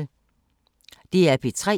DR P3